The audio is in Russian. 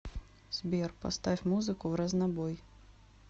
сбер поставь музыку вразнобой